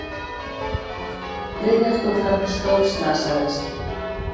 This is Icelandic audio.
Þriðja stúlkan stórslasaðist